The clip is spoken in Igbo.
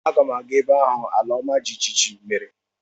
Aga m aga ebe ahụ ala ọma jijiji mere.